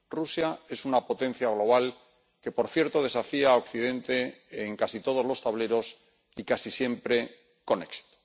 Rusia es una potencia global que, por cierto, desafía a Occidente en casi todos los tableros y casi siempre con éxito.